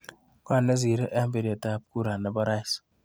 Ngo nesirei eng biretap kura nepo rais.